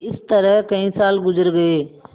इस तरह कई साल गुजर गये